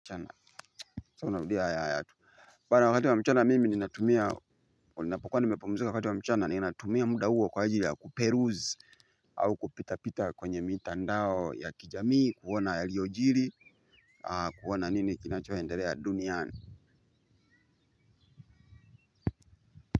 Mchana so narudia ya ya tu Bana wakati wa mchana mimi ninatumia unapokwa nimepomzika wakati wa mchana ninatumia muda huo kwa ajili ya kuperuzi au kupita pita kwenye mitandao ya kijamii kuona yaliojiri kuona nini kinachoendelea duniani.